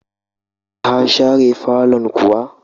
Ka share fallon kuwa?